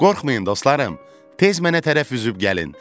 Qorxmayın dostlarım, tez mənə tərəf üzüb gəlin.